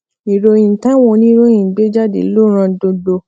ìròyìn táwọn oníròyìn gbé jáde ló ran gbogbo